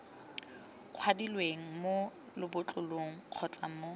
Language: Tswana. kwadilweng mo lebotlolong kgotsa mo